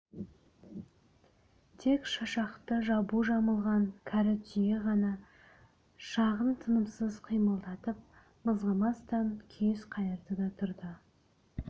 тек шашақты жабу жамылған кәрі түйе ғана жағын тынымсыз қимылдатып мызғымастан күйіс қайырды да тұрды